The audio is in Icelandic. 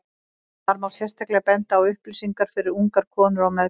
þar má sérstaklega benda á upplýsingar fyrir ungar konur á meðgöngu